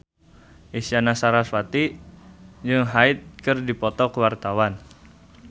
Isyana Sarasvati jeung Hyde keur dipoto ku wartawan